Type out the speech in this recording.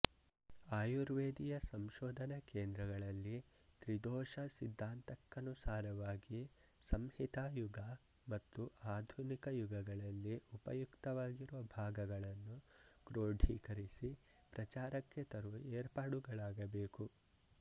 ಆಯುರ್ವೇದಿಯ ಸಂಶೋಧನಾ ಕೇಂದ್ರಗಳಲ್ಲಿ ತ್ರಿದೋಷ ಸಿದ್ಧಾಂತಕ್ಕನುಸಾರವಾಗಿ ಸಂಹಿತಾಯುಗ ಮತ್ತು ಆಧುನಿಕ ಯುಗಗಳಲ್ಲಿ ಉಪಯುಕ್ತವಾಗಿರುವ ಭಾಗಗಳನ್ನು ಕ್ರೋಢಿಕರಿಸಿ ಪ್ರಚಾರಕ್ಕೆ ತರುವ ಏರ್ಪಾಡುಗಳಾಗಬೇಕು